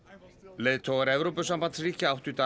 leiðtogar Evrópusambandsríkja áttu í dag